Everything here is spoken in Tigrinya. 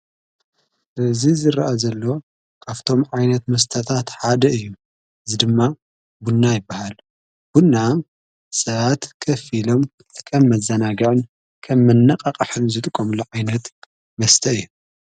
ዙ ዝረአ ዘሎ ካፍቶም ዓይነት መስተታት ሓደ እዩ ዝድማ ቡና ይበሃል ብና ሰኣት ከፊሎም ኸም መዘናጌዕን ከ መነቓ ቓሕን ዝጥቆምሎ ዓይነት መስተይ እየ።